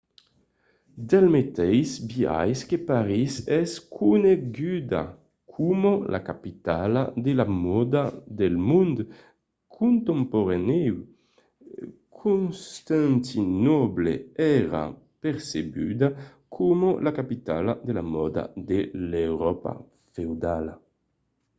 del meteis biais que parís es coneguda coma la capitala de la mòda del mond contemporanèu constantinòble èra percebuda coma la capitala de la mòda de l’euròpa feudala